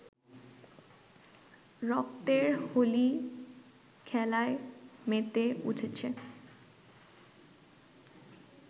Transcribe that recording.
রক্তের হোলি খেলায় মেতে উঠেছে